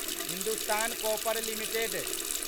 Hindustan copper limited